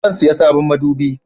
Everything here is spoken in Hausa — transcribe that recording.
Zan saya sabon madubi